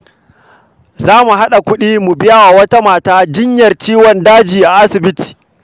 Za mu haɗa kuɗi mu biya wa wata mata jinyar ciwon daji a asibiti.